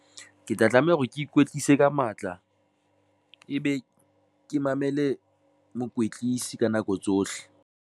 Ke tla tlameha hore ke ikwetlise ka matla, ebe ke mamele mokwetlisi ka nako tsohle.